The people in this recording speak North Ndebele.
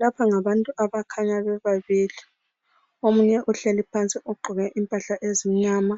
Lapha ngabantu abakhanya bebabili. Omunye uhleli phansi ugqoke impahla ezimnyama